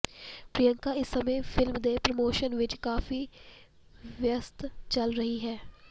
ਪ੍ਰਿਯੰਕਾ ਇਸ ਸਮੇਂ ਫਿਲਮ ਦੇ ਪ੍ਰਮੋਸ਼ਨ ਵਿੱਚ ਕਾਫੀ ਵਿਅਸਤ ਚੱਲ ਰਹੀ ਹੈ